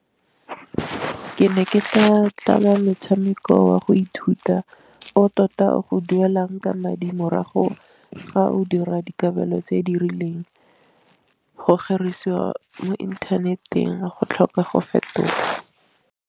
Ke ne ke tla tlhama motshameko wa go ithuta o tota o go duelang ka madi morago ga o dira dikabelo tse di rileng, go kgerisiwa mo inthaneteng go tlhoka go fetoga.